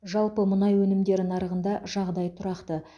жалпы мұнай өнімдері нарығында жағдай тұрақты